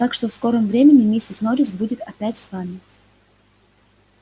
так что в скором времени миссис норрис будет опять с вами